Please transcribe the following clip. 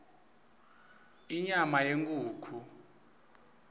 inyama yenkhukhu